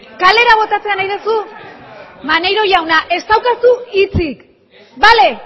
kalera botatzea nahi duzu maneiro jauna ez daukazu hitzik bale